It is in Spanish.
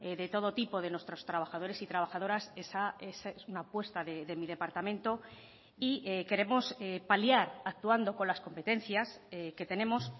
de todo tipo de nuestros trabajadores y trabajadoras es una apuesta de mi departamento y queremos paliar actuando con las competencias que tenemos